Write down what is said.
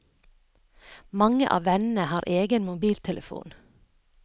Mange av vennene har egen mobiltelefon.